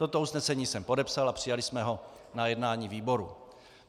Toto usnesení jsem podepsal a přijali jsme ho na jednání výboru.